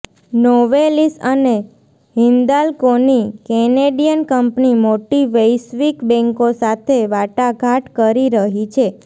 Novelis અને હિન્દાલ્કોની Canadian કંપની મોટી વૈશ્વિક બેન્કો સાથે વાટાઘાટ કરી રહી છે